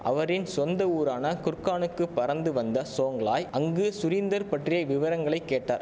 அவரின் சொந்த ஊரான குர்கானுக்கு பறந்து வந்த சோங்லாய் அங்கு சுரீந்தர் பற்றிய விவரங்களை கேட்டார்